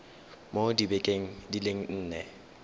mo dibekeng di le nne